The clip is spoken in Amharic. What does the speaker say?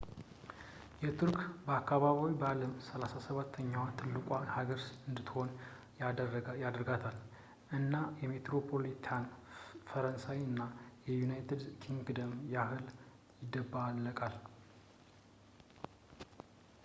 የቱርክ አከባቢ በዓለም 37 ኛዋ ትልቁ ሀገር እንድትሆን ያደርጋታል ፣ እና የሜትሮፖሊታን ፈረንሳይ እና የዩናይትድ ኪንግደምን ያህል ይደባለቃል